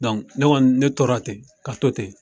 ne kɔni, ne tora ten ka to ten.